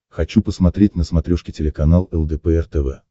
хочу посмотреть на смотрешке телеканал лдпр тв